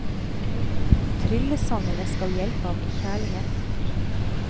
Tryllesangene skal hjelpe ham i kjærlighet.